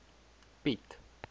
piet